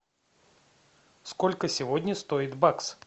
сколько сегодня стоит бакс